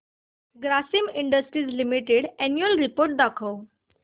Grasim Industries Limited annual report दाखव